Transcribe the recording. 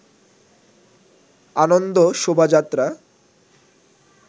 আনন্দ শোভাযাত্রা